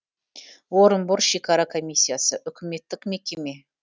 орынбор шекара комиссиясы үкіметтік мекеме